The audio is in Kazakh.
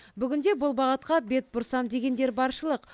бүгінде бұл бағытқа бет бұрсам дегендер баршылық